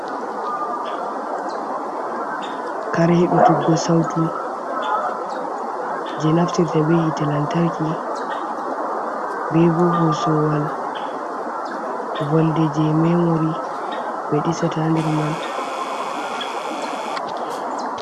Kare heɗutuggo sautu jei naftirta be hite lantarki, be bo hoosowal wolde jei memori ɓe ɗisata nder man.